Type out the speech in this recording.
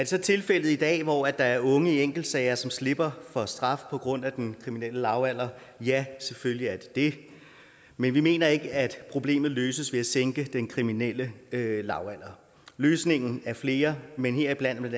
så tilfælde i dag hvor der er unge i enkeltsager som slipper for straf på grund af den kriminelle lavalder ja selvfølgelig er der det men vi mener ikke at problemet løses ved at sænke den kriminelle lavalder løsningerne er flere men heriblandt bla